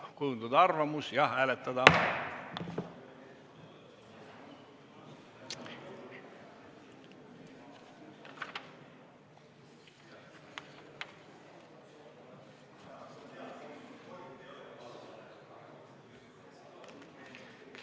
Palun kujundada arvamus ja hääletada!